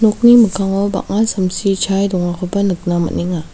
nokni mikkango bang·a samsi chae dongakoba nikna man·enga.